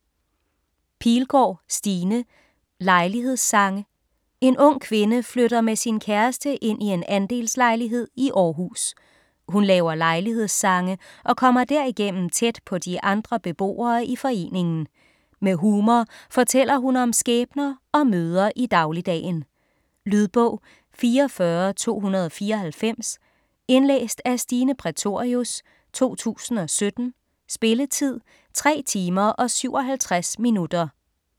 Pilgaard, Stine: Lejlighedssange En ung kvinde flytter med sin kæreste ind i en andelslejlighed i Århus. Hun laver lejlighedssange og kommer derigennem tæt på de andre beboere i foreningen. Med humor fortæller hun om skæbner og møder i dagligdagen. Lydbog 44294 Indlæst af Stine Prætorius, 2017. Spilletid: 3 timer, 57 minutter.